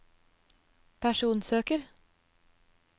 personsøker